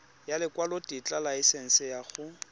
ya lekwalotetla laesense ya go